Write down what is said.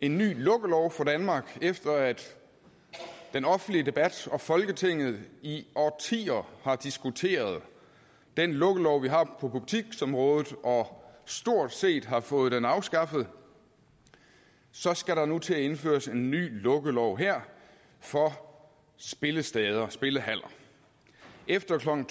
en ny lukkelov for danmark efter at den offentlige debat og folketinget i årtier har diskuteret den lukkelov som vi har på butiksområdet og stort set fået den afskaffet så skal der nu her til at indføres en ny lukkelov for spillesteder spillehaller efter klokken